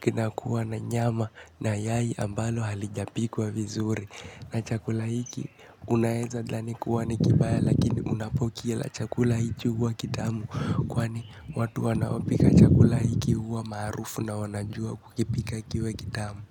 kinakuwa na nyama na yai ambalo halijapikwa vizuri. Na chakula hiki unaeza dhani kuwa ni kibaya lakini unapokila chakula hiki huwa kitamu. Kwani watu wanaopika chakula hiki huwa maarufu na wanajua kukipika kiwe kitamu.